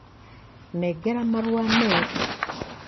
Nengera marua meru.